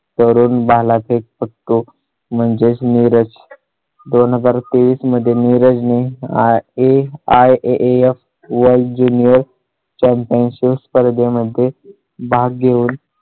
तरून भालाफेक फेककू म्हणजे नीरज. दोन हजार तेवीस मध्ये रजनी ने IAIAAFworld junior championship स्पर्धे मध्ये भाग घेऊन